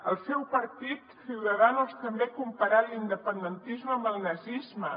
el seu partit ciudadanos també ha comparat l’independentisme amb el nazisme